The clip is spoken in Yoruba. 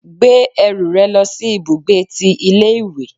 Gbé ẹrù rẹ lòsí ibùgbé tí ilé ìwé